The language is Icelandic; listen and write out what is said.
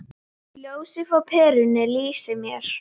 Ljósið frá perunni lýsir mér.